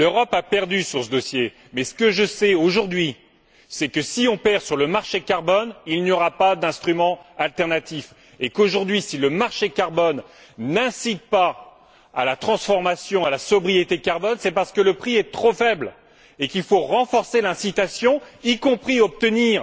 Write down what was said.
L'Europe a perdu sur ce dossier. Mais ce que je sais, aujourd'hui, c'est que si nous perdons sur le marché carbone, il n'y aura pas d'instrument alternatif. Si le marché carbone, aujourd'hui, n'incite pas à la transformation et à la sobriété carbone, c'est parce que le prix est trop faible et qu'il faut renforcer l'incitation, notamment en obtenant